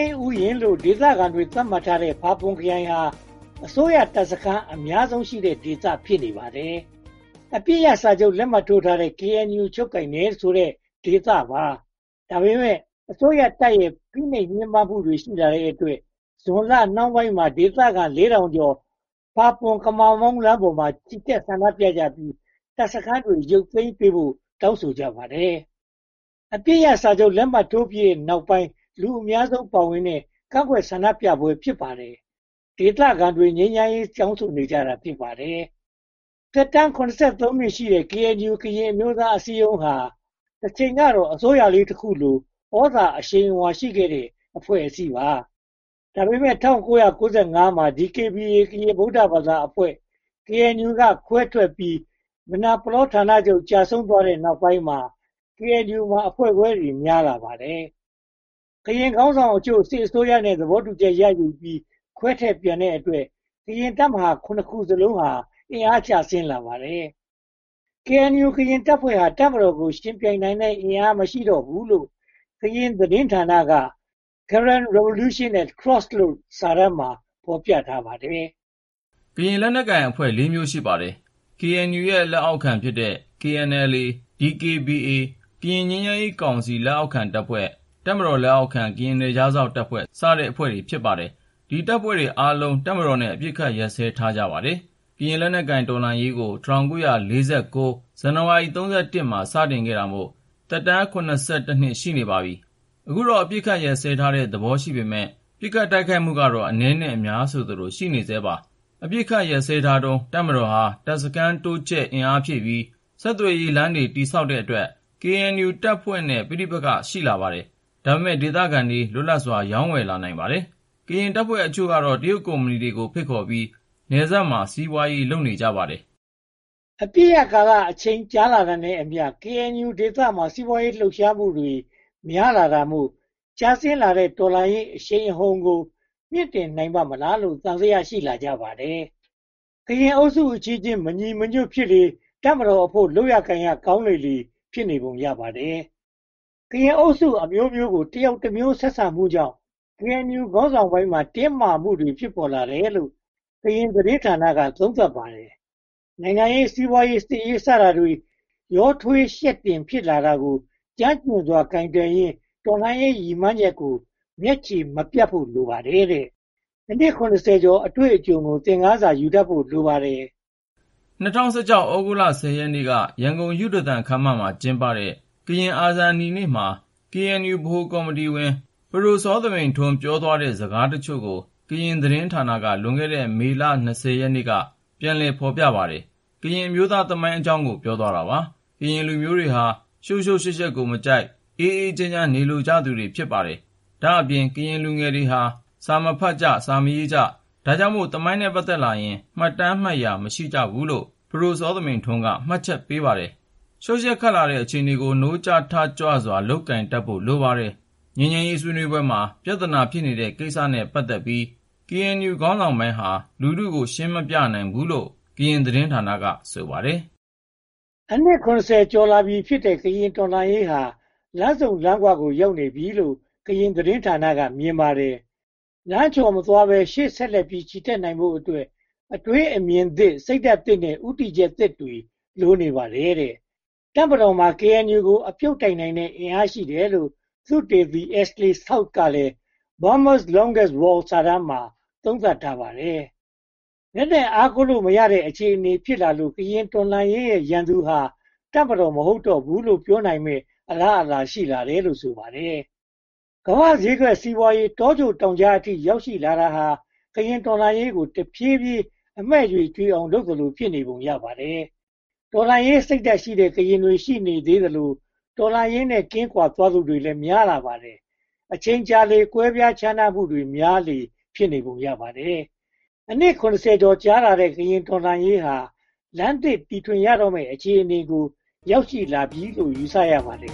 းဥယျာဉ်လို့ ဒေသခံတွေ သတ်မှတ်ထားတဲ့ ဖာပွန်ခရိုင်ဟာ အစိုးရတပ်စခန်း အများဆုံးရှိတဲ့ဒေသ ဖြစ်ပါတယ်။ အပစ်ရပ်စာချုပ် လက်မှတ်ထိုးထားတဲ့ KNU ချုပ်ကိုင်တယ်ဆိုတဲ့ ဒေသပါ။ ဒါပေမဲ့ အစိုးရတပ်ရဲ့ ဖိနှိပ်ညှဉ်းပန်းမှုတွေ ရှိလာတဲ့အတွက် ဇူလိုင်လနှောင်းပိုင်းမှာ ဒေသခံ (၄၀၀၀) ကျော် ဖာပွန်/ကမမောင်း လမ်းမပေါ်မှာ ချီတက်ဆန္ဒပြကြပြီး တပ်စခန်းတွေ ရုတ်သိမ်းပေးဖို့ တောင်းဆိုကြပါတယ်။ အပစ်ရပ်စာချုပ် လက်မှတ်ထိုးပြီးတဲ့နောက်ပိုင်း လူအများဆုံးပါဝင်တဲ့ ကန့်ကွက်ဆန္ဒပြပွဲ ဖြစ်ပါတယ်။ ဒေသခံတွေက ငြိမ်းချမ်းရေး တောင်းဆိုနေကြတာ ဖြစ်ပါတယ်။ သက်တမ်း (၇၃) နှစ်ရှိတဲ့ KNU ကရင်အမျိုးသားအစည်းအရုံးဟာ တချိန်ကတော့ အစိုးရလေးတခုလို သြဇာအရှိန်အဝါ ရှိခဲ့တဲ့ အဖွဲ့အစည်းပါ။ ဒါပေမဲ့ ၁၉၉၅ မှာ DKBA ကရင် ဗုဒ္ဓဘာသာအဖွဲ့ KNU က ခွဲထွက်ပြီး မယ်နာပလောဌာနချုပ် ကျဆုံးသွားတဲ့နောက်ပိုင်းမှာ KNU မှာ အဖွဲ့ခွဲတွေ များလာပါတယ်။ KNU ခေါင်းဆောင်အချို့ စစ်အစိုးရနဲ့ သဘောတူချက်ရယူပြီး ခွဲထွက်ပြန်တဲ့အတွက် ကရင်တပ်မဟာ (၇) ခုစလုံး အင်အားကျဆင်းလာပါတယ်။ KNU တပ်ဖွဲ့ဟာ တပ်မတော်ကို ယှဉ်ပြိုင်နိုင်တဲ့ အင်အားမရှိတော့ဘူးလို့ ကရင်သတင်းဌာနရဲ့ Karen Revolution at Crossroad စာတမ်းမှာ ဖော်ပြထားပါတယ်။ ကရင်လက်နက်ကိုင်တပ်ဖွဲ့ လေးမျိုး ရှိပါတယ်။ KNU ရဲ့ လက်အောက်ခံဖြစ်တဲ့ KNLA တပ်ဖွဲ့၊ DKBA တပ်ဖွဲ့၊ ကရင်ငြိမ်းချမ်းရေးကောင်စီ လက်အောက်ခံတပ်ဖွဲ့၊ တပ်မတော်လက်အောက်ခံ ကရင်နယ်ခြားစောင့်တပ် စတဲ့ တပ်ဖွဲ့တွေ ဖြစ်ပါတယ်။ ဒီတပ်ဖွဲ့တွေအားလုံး တပ်မတော်နဲ့ အပစ်အခတ် ရပ်စဲထားကြပါတယ်။ ကရင်လက်နက်ကိုင် တော်လှန်ရေးကို ၁၉၄၉ ဇန်နဝါရီလ (၃၁) ရက်နေ့မှာ စတင်တာမို့ တော်လှန်ရေးသက်တမ်း (၇၁) နှစ် ရှိနေပါပြီ။ အခုတော့ အပစ်အခတ်ရပ်စဲထားတဲ့ သဘောရှိပေမယ့် ပစ်ခတ်တိုက်ခိုက်မှုကတော့ အနည်းနဲ့အများ ရှိနေဆဲပါပဲ။ အပစ်အခတ်ရပ်စဲထားတုန်း တပ်မတော်ဟာ တပ်စခန်းတိုးချဲ့အင်အားဖြည့်ပြီး ဆက်သွယ်ရေးလမ်းတွေ တည်ဆောက်တဲ့အတွက် KNU တပ်ဖွဲ့နဲ့ ပဋိပက္ခ ဖြစ်လာပါတယ်။ ဒါပေမဲ့ ဒေသခံတွေ လွတ်လပ်စွာ ရောင်းဝယ်လာနိုင်ပါတယ်။ ကရင်တပ်ဖွဲ့အချို့ကတော့ တရုတ်ကုမ္ပဏီတွေ ဖိတ်ခေါ်ပြီး နယ်စပ်မှာ စီးပွားရေး လုပ်ကြပါတယ်။ အပစ်ရပ်ကာလအချိန် ကြာလာတာနဲ့အမျှ KNU ဒေသမှာ စီးပွားရေးလှုပ်ရှားမှုတွေ များလာတာမို့ ကျဆင်းလာတဲ့ တော်လှန်ရေးအရှိန်အဟုန်ကို မြှင့်တင်နိုင်ပါ့မလားလို့ သံသယ ရှိလာကြပါတယ်။ ကရင်အုပ်စုအချင်းချင်း မညီမညွှတ်ဖြစ်လေ တပ်မတော်အဖို့ လုပ်လို့ကိုင်လို့ကောင်းလေ ဖြစ်နေပုံရပါတယ်။ ကရင်အုပ်စုအမျိုးမျိုးကို တယောက်တမျိုး ဆက်ဆံမှုကြောင့် KNU ခေါင်းဆောင်ပိုင်းမှာ တင်းမာမှုတွေ ဖြစ်ပေါ်လာတယ်လို့ ကရင်သတင်းဌာနက သုံးသပ်ပါတယ်။ နိုင်ငံရေး၊ စီးပွားရေး၊ စစ်ရေး စတာတွေ ရောထွေးယှက်တင် ဖြစ်လာတာကို ကျွမ်းကျင်စွာ ကိုင်တွယ်ရင်း တော်လှန်ရေး ရည်မှန်းချက်ကို မျက်ခြေမပြတ်ဖို့ လိုပါတယ်တဲ့။ အနှစ် (၇၀) ကျော် အတွေ့အကြုံကို သင်ခန်းစာ ယူတတ်ဖို့ လိုပါတယ်။ ၂၀၁၆ သြဂုတ်လ (၁၀) ရက်နေ့က ရန်ကုန်ယုဒသန်ခန်းမမှာ ကျင်းပတဲ့ ကရင်အာဇာနည်နေ့မှာ KNU ဗဟိုကော်မတီဝင် ပဒိုစောသမိန်ထွန်း ပြောသွားတဲ့ စကားအချို့ကို ကရင်သတင်းဌာနက လွန်ခဲ့တဲ့ မေလ (၂၀) ရက်နေ့က ပြန်လည် ဖော်ပြပါတယ်။ ကရင်အမျိုးသားသမိုင်းအကြောင်းကို ပြောသွားတာပါ။ ကရင်လူမျိုးတွေဟာ ရှုပ်ရှုပ်ယှက်ယှက်ကိုမကြိုက်၊ အေးအေးချမ်းချမ်း နေလိုကြပါတယ်။ ဒါ့အပြင် ကရင်လူငယ်တွေဟာ စာမဖတ်ကြ၊ စာမရေးကြ၊ ဒါကြောင့်မို့ သမိုင်းနဲ့ ပတ်သက်လာရင် မှတ်တမ်းမှတ်ရာ မရှိကြဘူးလို့ ပဒိုစောသမိန်ထွန်းက မှတ်ချက်ချပါတယ်။ ရှုပ်ယှက်ခတ်လာတဲ့ အခြေအနေကို နိုးကြားထကြွစွာ ကိုင်တွယ်တတ်ဖို့ လိုပါတယ်။ ငြိမ်းချမ်းရေးဆွေးနွေးပွဲမှာ ပြဿနာ ဖြစ်နေတဲ့ကိစ္စတွေနဲ့ ပတ်သက်ပြီး KNU ခေါင်းဆောင်ပိုင်းဟာ လူထုကို ရှင်းမပြနိုင်ခဲ့ဘူးလို့ ကရင်သတင်းဌာနက ဆိုပါတယ်။ အနှစ် (၇၀) ကျော်လာပြီးဖြစ်တဲ့ ကရင်တော်လှန်ရေးဟာ လမ်းဆုံလမ်းခွကို ရောက်နေပြီလို့ ကရင်သတင်းဌာနက မြင်ပါတယ်။ လမ်းချော်မသွားဘဲ ရှေ့ဆက်လက်ချီတတ်နိုင်ဖို့အတွက် အတွေးအမြင်သစ် စိတ်ဓါတ်သစ်နဲ့ ဦးတည်ချက်သစ်တွေ လိုအပ်နေပါတယ်။ တပ်မတော်မှာ KNU ကို အပြုတ်တိုက်နိုင်တဲ့ အင်အားရှိတယ်လို့ သုတေသီ Ashley South ကလည်း Burma’s Longest War စာတမ်းမှာ သုံးသပ်ထားပါတယ်။ လက်နက်အားကိုးလို့မရတဲ့ အခြေအနေဖြစ်လာလို့ ကရင်တော်လှန်ရေးရဲ့ ရန်သူဟာ တပ်မတော် မဟုတ်တော့ဘူးလို့ ပြောနိုင်မယ့်အလားအလာ ရှိလာတယ်လို့ ဆိုပါတယ်။ ကမ္ဘာ့ဈေးကွက်စီးပွားရေး တောကြိုတောင်ကြားအထိ ရောက်ရှိလာတာဟာ ကရင်တော်လှန်ရေးကို တဖြည်းဖြည်းအမှည့်ကြွေအောင် လုပ်သလို ဖြစ်နေပုံရပါတယ်။ တော်လှန်ရေးစိတ်ဓါတ်ရှိတဲ့ ကရင်တွေ ရှိနေသေးသလို တော်လှန်ရေးနဲ့ ကင်းကွာသွားသူတွေလည်း များလာပါတယ်။ အချိန်ကြာလေ ကွဲပြားခြားနားမှုတွေ များလေလေ ဖြစ်နေပုံရပါတယ်။ အနှစ် (၇၀) ကျော်ကြာခဲ့တဲ့ ကရင်တော်လှန်ရေးဟာ လမ်းသစ်တီထွင်ရတော့မယ် အခြေအနေကို ရောက်ရှိလာပြီလို့ ယူဆရပါတယ်